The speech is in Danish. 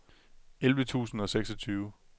elleve tusind og seksogtyve